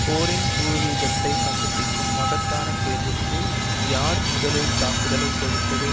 போரின் பூர்வீகத்தை கண்டுபிடிக்கும் மகத்தான கேள்விக்கு யார் முதலில் தாக்குதலை தொடுத்தது